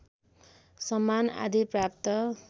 सम्मान आदि प्राप्त